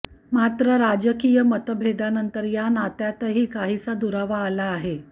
मात्र राजकीय मतभेदानंतर या नात्यातही काहीसा दुरावा आला आहे